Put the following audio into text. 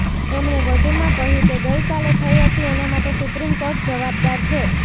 એમણે વધુમાં કહ્યું કે ગઈકાલે થઈ હતી એના માટે સુપ્રીમકોર્ટ જવાબદાર છે